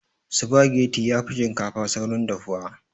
Sufageti yafi shinkafa saurin dafuwa